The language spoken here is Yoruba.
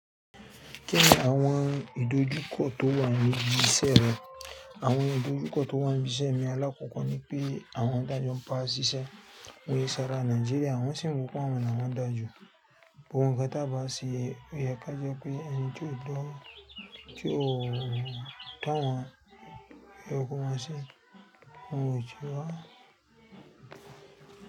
Kẹ́ ní àwọn ìdojúkọ tó wà níbi iṣẹ́ rẹ? Àwọn ìdojúkọ tó wà níbi iṣẹ́ mi alákòókò ni pé àwọn tájọ́ ń ba ṣíṣẹ́. Wọn ki sára Nàìjíríà, wọn sì ń wò pé àwọn la wọ́n dáaju. Gbogbo nkan tá bá a se o yẹ ká jẹ́ pé ẹni tí ó do, tí ó da wọn, o yẹ kó maa se, wọn ò ju ọ́.